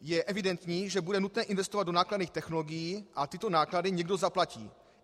Je evidentní, že bude nutné investovat do nákladných technologií a tyto náklady někdo zaplatí.